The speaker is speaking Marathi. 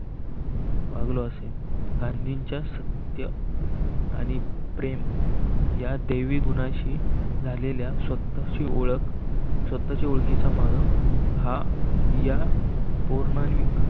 असेल गांधींच्या सत्य आणि प्रेम या देवी गुणांशी झालेल्या स्वतःची ओळख स्वतःची ओळखीचा मार्ग हा या